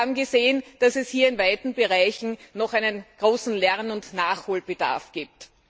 Wir haben gesehen, dass es hier in weiten Bereichen noch einen großen Lern und Nachholbedarf gibt.